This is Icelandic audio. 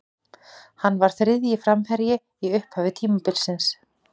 Hann var þriðji framherji í upphafi tímabilsins.